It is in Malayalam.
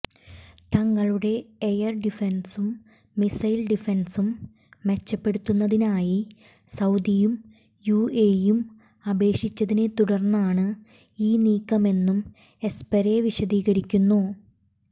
തങ്ങളുടെ എയര് ഡിഫെന്സും മിസൈല് ഡിഫെന്സും മെച്ചപ്പെടുത്തുന്നതിനായി സൌദിയും യുഎഇയും അപേക്ഷിച്ചതിനെ തുടര്ന്നാണ് ഈ നീക്കമെന്നും എസ്പെര് വിശദീകരിക്കുന്നു